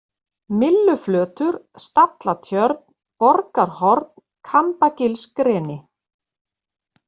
Mylluflötur, Stallatjörn, Borgarhorn, Kambagilsgreni